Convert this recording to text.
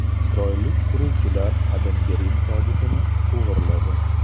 Isroillik quruvchilar Qadimgi Rim tobutini o‘g‘irladi.